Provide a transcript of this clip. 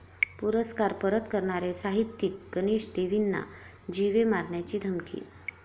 पुरस्कार परत करणारे साहित्यिक गणेश देवींना जीवे मारण्याची धमकी